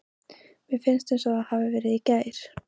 Mér finnst eins og það hafi verið í gær.